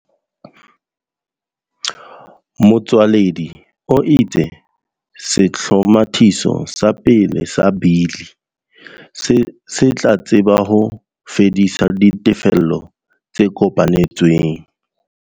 Motsoaledi o itse sehlomathiso sa pele sa Bili se tla tseba ho fedisa ditefello tse kopanetsweng.